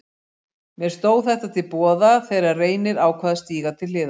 Mér stóð þetta til boða þegar Reynir ákvað að stíga til hliðar.